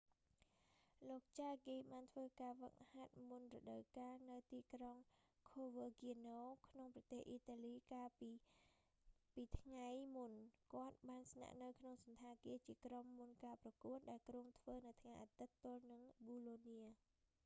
លោក ចាហ្គី jarque បានធ្វើការហ្វឹកហាត់មុនរដូវកាលនៅ ទីក្រុង ខូវើគាណូ coverciano ក្នុងប្រទេសអ៊ីតាលីកាលពីកាលពីថ្ងៃមុន គាត់បានស្នាក់នៅក្នុងសណ្ឋាគារជាក្រុមមុនការប្រកួត ដែលគ្រោងធ្វើនៅថ្ងៃអាទិត្យទល់នឹងប៊ូឡូនា bolonia